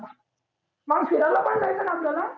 मग फिरायला पण जायचं ना आपल्याला?